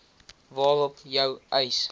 waarop jou eis